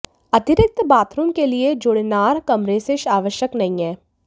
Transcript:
अतिरिक्त बाथरूम के लिए जुड़नार कमरे से आवश्यक नहीं है